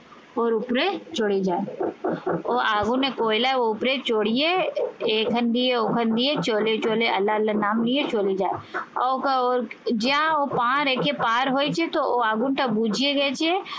ওর উপরে চলে যায় ও আগুনে কয়লার ওপরে চড়িয়ে এখান দিয়ে ওখান দিয়ে চলে আল্লা আল্লা নাম নিয়ে চলে যায়। ওকে ওর যা ও পা রেখে পার হয়েছে তো ও আগুনটা বুঝিয়ে গেছে